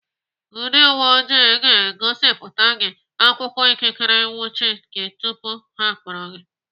Ndị uwe ojii ga-egosipụta gị akwụkwọ ikikere ịnwụchi gị tupu ha akpọrọ gị.